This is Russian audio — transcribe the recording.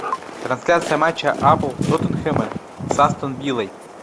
трансляция матча апл тоттенхэма с астон виллой